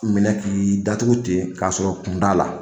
Minɛ k'i datugu ten k'a sɔrɔ kun t'a la